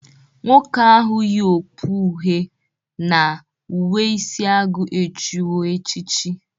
Nwoke ahụ yị okpu uhe na uwe isi agụ echiwo echichi.